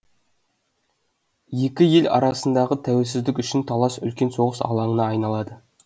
екі ел арасындағы тәуелсіздік үшін талас үлкен соғыс алаңына айналады